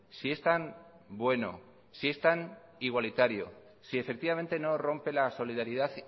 si es tan bueno si es tan igualitario si efectivamente no rompe la solidaridad